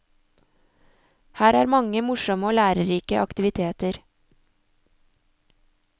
Her er mange morsomme og lærerike aktiviteter.